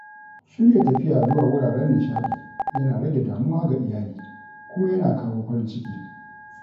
Shirya tafiya zuwa wuraren nishaɗi yana rage damuwa ga iyali kuma yana kawo farin ciki.